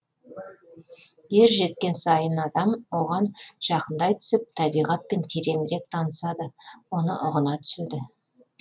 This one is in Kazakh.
ер жеткен сайын адам оған жақындай түсіп табиғатпен тереңірек танысады оны ұғына түседі